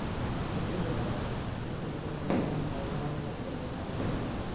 Shinnidu In kasta oo aanay ahayn xoolaha la dhaqdo ee caadiga ah.